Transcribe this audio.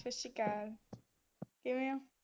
ਸਤਿ ਸ਼੍ਰੀ ਅਕਾਲ ਕਿਵੇਂ ਓ